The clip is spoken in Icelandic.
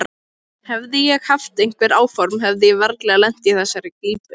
Hefði ég haft einhver áform hefði ég varla lent í þessari klípu.